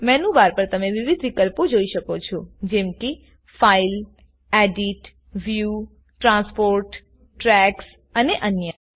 menu bar પર તમે વિવિધ વિકલ્પો જોઈ શકો છોજેમ કે file edit view transport tracks અને અન્ય